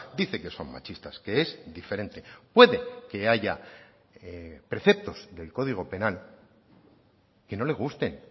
dice que son machistas que es diferente puede que haya preceptos del código penal que no le gusten